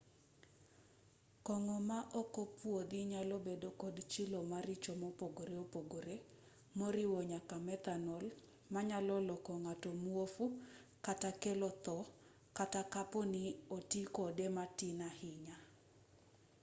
kong'o ma okopwodhi nyalobedo kod chilo maricho mopogore opogore moriwo nyaka methanol manyalo loko ng'ato muofu kata kelo tho kata kapo ni oti kode matin ahinya